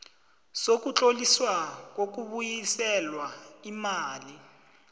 sokutloliswa kokubuyiselwa imali